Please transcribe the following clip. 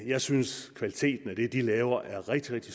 jeg synes at kvaliteten af det de laver er rigtig rigtig